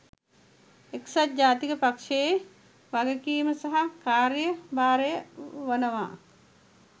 එක්සත් ජාතික පක්ෂයේ වගකීම සහ කාර්ය භාරය වනවා.